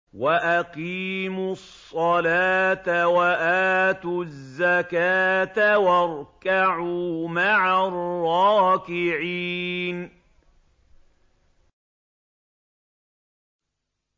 وَأَقِيمُوا الصَّلَاةَ وَآتُوا الزَّكَاةَ وَارْكَعُوا مَعَ الرَّاكِعِينَ